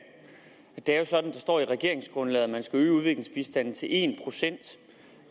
det er jo sådan at det står i regeringsgrundlaget at man skal øge udviklingsbistanden til en procent